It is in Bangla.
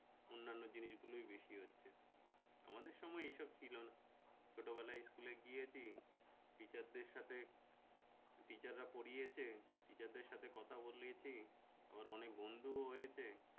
অন্যান্য জিনিস গুলোই বেশি হচ্ছে আমাদের সময় এসব ছিল না ছোটবেলায় school এ গিয়েছি teacher দের সাথে teacher রা পড়িয়েছে teacher দের সাথে কথা বলেছি আবার অনেক বন্ধু ও হয়েছে